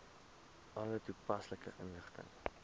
alle toepaslike inligting